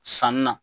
Sanni na